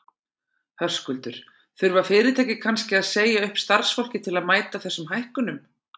Höskuldur: Þurfa fyrirtæki kannski að segja upp starfsfólki til að mæta þessum hækkunum?